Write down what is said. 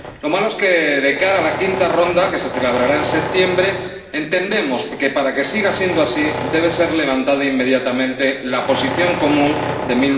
Lo malo es que, de cara a la quinta ronda que se celebrará en septiembre, entendemos que, para que siga siendo así, debe revocarse inmediatamente la Posición Común de